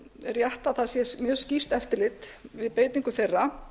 rétt að það sé mjög skýrt eftirlit við beitingu þeirra